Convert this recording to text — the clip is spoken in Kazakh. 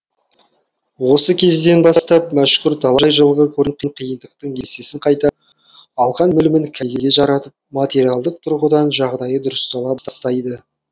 осы кезден бастап мәшһүр талай жылғы көрген қиындықтың есесін қайтарып алған білімін кәдеге жаратып материалдық тұрғыдан жағдайы дұрыстала бастайды